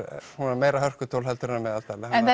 svona meira hörkutól heldur en að meðaltali en það